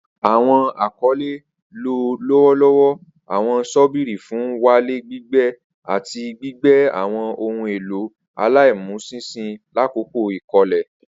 Awọn akọle lo lọwọlọwọ awọn ṣọ́bìrì fun n walẹ, gbigbe, ati gbigbe awọn ohun elo alaimuṣinṣin lakoko ikole.